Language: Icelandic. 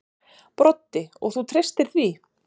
Broddi: Og þú treystir því?